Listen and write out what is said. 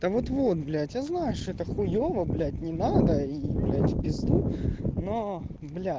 да вот вот блять я знаю что это хуёво блять не надо и блять в пизду но бля